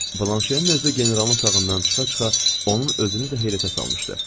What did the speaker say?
Blanşenin özü generalın otağından çıxa-çıxa onun özünü də heyrətə salmışdı.